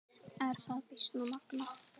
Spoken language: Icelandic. Er það býsna magnað.